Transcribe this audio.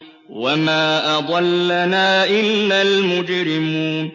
وَمَا أَضَلَّنَا إِلَّا الْمُجْرِمُونَ